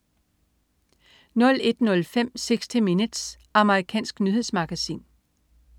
01.05 60 Minutes. Amerikansk nyhedsmagasin